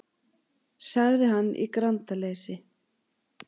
sagði hann í grandaleysi.